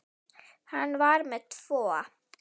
Hann var með tvo.